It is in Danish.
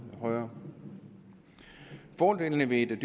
højere fordelene ved et